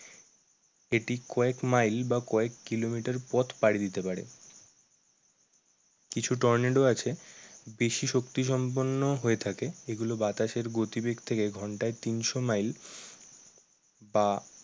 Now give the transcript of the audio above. এটি কয়েক মাইল বা কয়েক কিলোমিটার পথ পারি দিতে পারে। কিছু টর্নেডো আছে বেশি শক্তি সম্পূর্ণ হয়ে থাকে। এগুলো বাতাসের গতিবেগ থাকে ঘন্টায় তিনশো মাইল বা